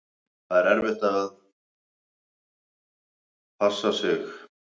Þetta er erfitt, við verðum að passa okkur.